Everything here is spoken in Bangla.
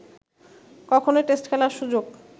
কখনোই টেস্ট খেলার সুযোগ